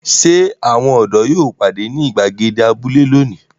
Ṣé àwọn ọ̀dọ́ yóò pàdé ní ìgbàgede abúlé lónìí?